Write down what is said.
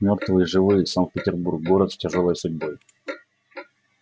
мёртвые и живые санкт-петербург город с тяжёлой судьбой